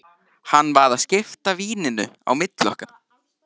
Hann var að skipta víninu á milli okkar!